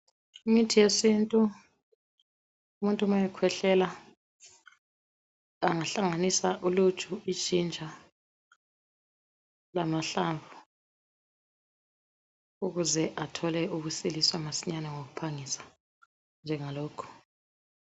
Imithi yesintu umuntu ma ekhwehlela angahlanganisa uluju, ijinja lamahlamvu ukuze athole ukusiliswa masinyane ngokuphangisa njengalokhu.